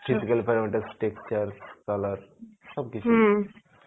physical parameter structure, color সব কিছুই